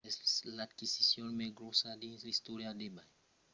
es l’aquisicion mai gròssa dins l’istòria d’ebay